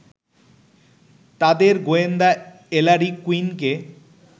তাঁদের গোয়েন্দা এলারি কুইনকে